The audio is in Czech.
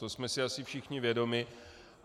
To jsme si asi všichni vědomi.